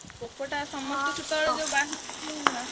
Poco ଟା ।